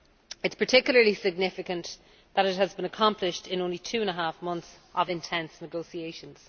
It is particularly significant that it has been accomplished in only two and a half months of intense negotiations.